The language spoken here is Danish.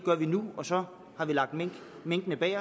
gør vi nu og så har vi lagt minkene bag